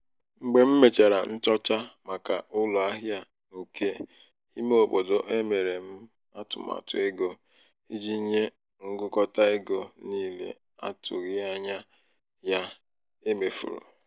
mgbe m mèchàrà nchọcha màkà ụlọ ahịa nke ímé obodo emere m atụmatụ ego iji nye ngụkọta ego niile n'atụghị ányá ya e mefuru.